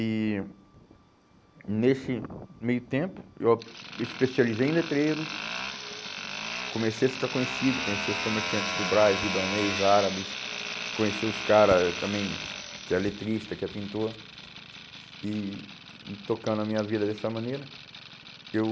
E nesse meio tempo, eu especializei em letreiros, comecei a ficar conhecido, conheci os comerciantes do Brás, libanês, árabes, conheci os cara também, que é letrista, que é pintor, e e tocando a minha vida dessa maneira, eu...